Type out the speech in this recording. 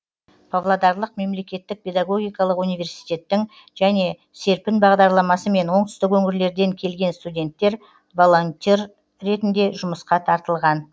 павлодарлық мемлекеттік педагогикалық университеттің және серпін бағдарламасымен оңтүстік өңірлерден келген студенттер волонтер ретінде жұмысқа тартылған